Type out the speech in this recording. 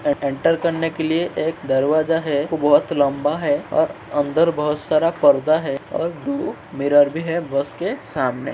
ए enter करने के लिए एक दरवाजा है। वो बहोत लम्बा है ओर अंदर बहोत सारा परदा है और दो मिरर भी है। बस के सामने --